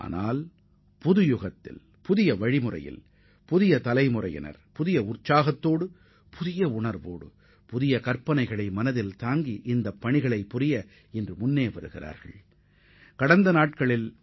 ஆனால் தற்போதைய புதிய சகாப்தத்தில் தத்தமது கனவுகளை நிறைவேற்றக் கூடியவர்களாக புதிய தலைமுறையினர் புதுமையான வழிமுறைகளுடன் புத்தெழுச்சியும் உற்சாகமும் உடையவர்களாக உள்ளனர்